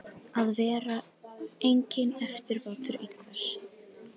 Að vera enginn eftirbátur einhvers